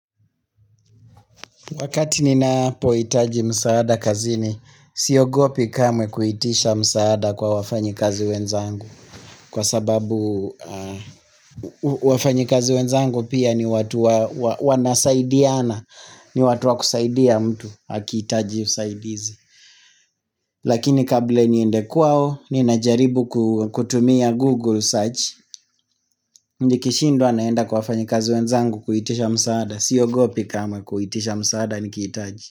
Wakati ninapohitaji msaada kazini, siogopi kamwe kuitisha msaada kwa wafanyikazi wenzangu. Kwa sababu wafanyikazi wenzangu pia ni watu wanasaidiana, ni watu wakusaidia mtu akihitaji usaidizi. Lakini kabla niende kwao, ninajaribu kutumia Google search. Nikishindwa naenda kwa wafanyikazi wenzangu kuitisha msaada, siogopi kamwe kuitisha msaada nikihitaji.